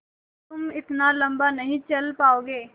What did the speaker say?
तुम इतना लम्बा नहीं चल पाओगे